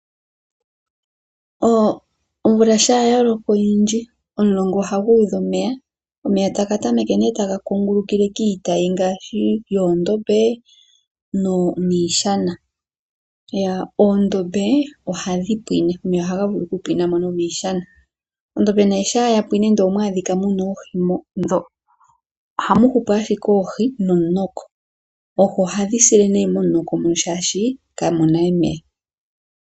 Omvula shampa ya loko oonene omulonga ohagu udha omeya . Omeya taga tameke nee taga kungulukile kiitayi ngaashi yomadhiya niishana. Omadhiya ohaga pwine . Omadhiya shampa ga pwine, ndele omwa adhika mu na oohi ohamu hupu ashike oohi nomunoko. Oohi ohadhi sile nee momunoko mono, oshoka kamu na omeya .